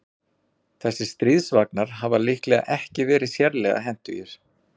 Þessir stríðsvagnar hafa líklega ekki verið sérlega hentugir.